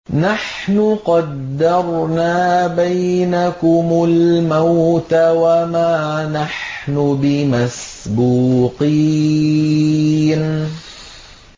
نَحْنُ قَدَّرْنَا بَيْنَكُمُ الْمَوْتَ وَمَا نَحْنُ بِمَسْبُوقِينَ